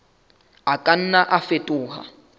a ka nna a fetoha